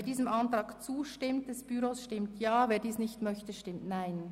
Wer dem Ordnungsantrag 15 zustimmt, stimmt Ja, wer diesen ablehnt, stimmt Nein.